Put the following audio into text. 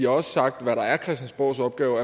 også sagt hvad der er christiansborgs opgave